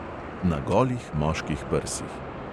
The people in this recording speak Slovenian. Na golih moških prsih.